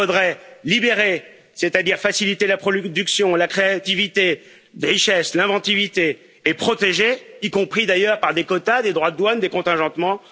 Il faudrait libérer, c'est à dire faciliter la production, la créativité, les richesses et l'inventivité, et protéger, y compris d'ailleurs par des quotas, des droits de douane, des contingentements.